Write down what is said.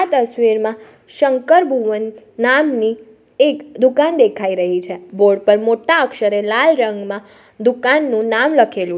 આ તસવીરમાં શંકર ભુવન નામની એક દુકાન દેખાઈ રહી છે બોર્ડ પર મોટા અક્ષરે લાલ રંગમાં દુકાનનું નામ લખેલું --